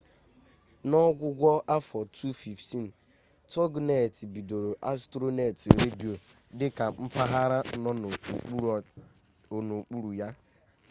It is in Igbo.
n'ọgwụgwụ afọ 2015 toginet bidoro astronet redio dị ka mpaghara nọ n'okpuru ya